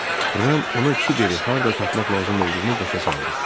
Ram ona Kiberi harda tapmaq lazım olduğunu başa saldı.